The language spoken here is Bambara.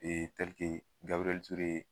Gabirɛɛɛɛli Ture